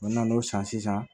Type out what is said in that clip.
U nana n'o san sisan